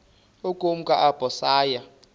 ukumka apho saya